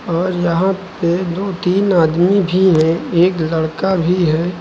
और यहां पे दो तीन आदमी भी हैं एक लड़का भी है।